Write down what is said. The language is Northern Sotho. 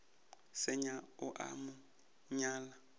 senya o a mo nyala